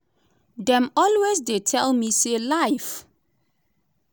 dem always dey tell me say life